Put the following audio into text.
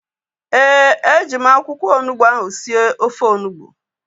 Ee, e ji m akwụkwọ onugbu ahu sie ofe onugbu